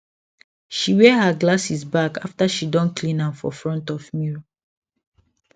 she wear her glasses back after she don clean am for front of mirror